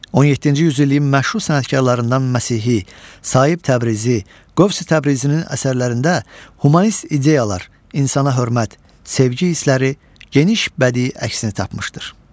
17-ci yüzilliyin məşhur sənətkarlarından Məsihi, Saib Təbrizi, Qövsi Təbrizinin əsərlərində humanist ideyalar, insana hörmət, sevgi hissləri geniş bədii əksini tapmışdır.